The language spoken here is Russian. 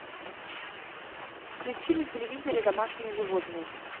включи на телевизоре домашние животные